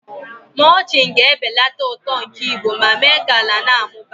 mulching ga-ebelata uto nke igbo ma mee ka ala na-amụba.